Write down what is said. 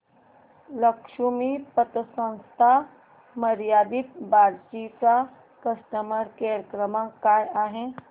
लक्ष्मी पतसंस्था मर्यादित बार्शी चा कस्टमर केअर क्रमांक काय आहे